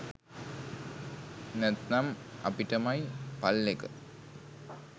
නැත්නම් අපිටමයි පල් එක